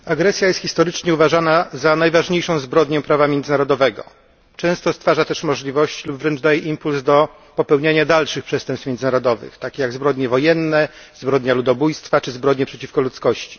Pani Przewodnicząca! Agresja jest historycznie uważana za najważniejszą zbrodnię prawa międzynarodowego. Często stwarza też możliwości lub wręcz daje impuls do popełniania dalszych przestępstw międzynarodowych, takich jak zbrodnie wojenne, zbrodnia ludobójstwa czy zbrodnie przeciwko ludzkości.